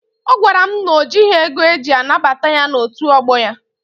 Ọ gwara m na o jịghị ego eji anabata ya n'otu ọgbọ ya.